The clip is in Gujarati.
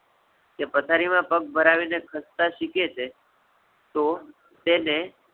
કે પથારી માં પગ ભરાવી ને ખસતા શીખે છે, તો તેને